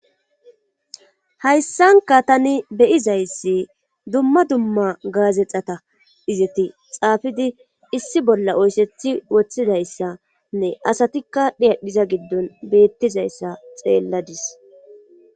Hayssanka tani beyizayssi dumma dumma gaazexata izeti xaafidi issi bolla oysethi woththidayssanne asatikka dhiyadhiza giddon beettizayssa xeelladis.